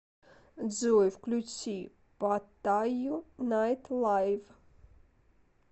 джой включи паттаю найтлайв